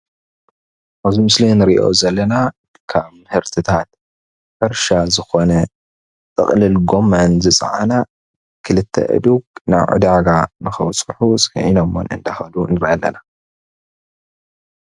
ኣብዚ ምስሊ ንርኦ ዘለና ካብ ምህርትታት ሕርሻ ዝኮነ ጥቅልል ጎመን ዝፃዓና ክልተ ኣእዱግ ናብ ዕዳጋ ከብፅሑ ፅዓኖመን እንዳከዱ ንርኢ አለና።